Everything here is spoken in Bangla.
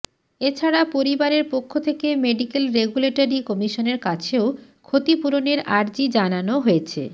এছাড়া পরিবারের পক্ষ থেকে মেডিকেল রেগুলেটরি কমিশনের কাছেও ক্ষতিপূরণের আর্জি জানানো হয়েছে